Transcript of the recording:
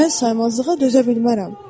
Mən saymazlığa dözə bilmərəm.